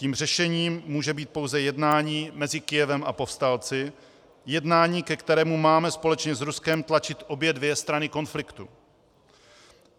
Tím řešením může být pouze jednání mezi Kyjevem a povstalci, jednání, ke kterému máme společně s Ruskem tlačit obě dvě strany konfliktu.